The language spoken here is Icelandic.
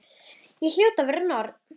Ég hljóti að vera norn.